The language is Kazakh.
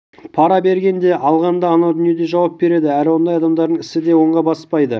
пара берген де алған да анау дүниеде жауап береді әрі ондай адамдардың ісі де оңға баспайды